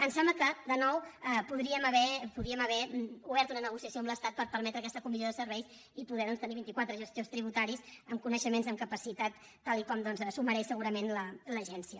em sembla que de nou podríem haver obert una negociació amb l’estat per permetre aquesta comissió de serveis i poder tenir doncs vinti quatre gestors tributaris amb coneixements i amb capacitat tal com s’ho mereix segurament l’agència